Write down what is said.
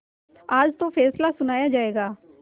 आज तो फैसला सुनाया जायगा